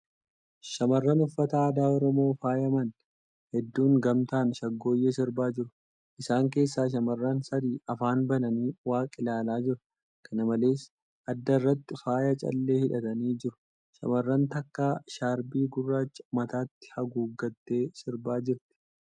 Shamarran uffata aadaaOromoon faayaman hedduun gamtaan shaggooyyee sirbaa jiru. Isaan keessaa shamarran sadi afaan bananii waaq ilaalaa jiru. Kana malees, adda irratti faaya callee hidhatanii jiru. Shamarran takka shaarpii gurraacha mataatti haguuggattee sirbaa jirti.